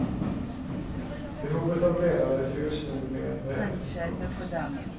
Behovet av ledare fylls nu mer än väl. punkt